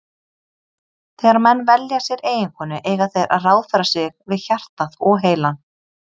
Þegar menn velja sér eiginkonu eiga þeir að ráðfæra sig við hjartað og heilann.